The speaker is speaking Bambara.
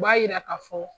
U b'a yira ka fɔ